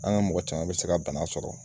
An ka mɔgɔ caman bɛ se ka bana sɔrɔ.